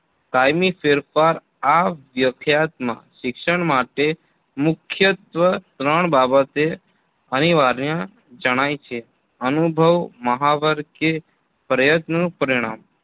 કાયમી ફેરફાર આ વ્યખ્યાત માં શિક્ષણ માટે મુખ્યત્વ ત્રણ બાબતો અનિવાર્ય જણાય છે અનુભવ મહાવર કે પ્રયત્નનું પરિણામ